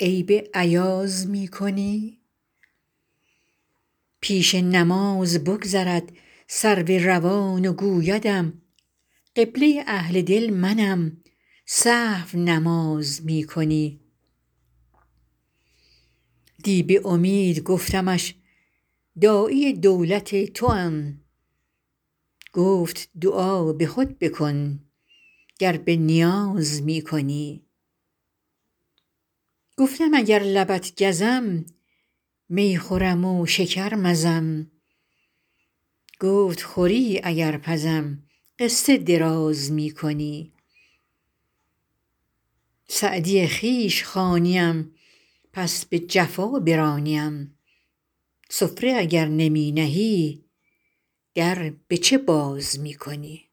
عیب ایاز می کنی پیش نماز بگذرد سرو روان و گویدم قبله اهل دل منم سهو نماز می کنی دی به امید گفتمش داعی دولت توام گفت دعا به خود بکن گر به نیاز می کنی گفتم اگر لبت گزم می خورم و شکر مزم گفت خوری اگر پزم قصه دراز می کنی سعدی خویش خوانیم پس به جفا برانیم سفره اگر نمی نهی در به چه باز می کنی